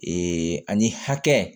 Ee ani hakɛ